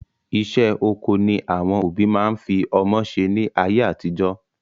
Iṣẹ́ oko ni àwọn òbí máa ń fi ọmọ ṣe ni ayé àtijọ́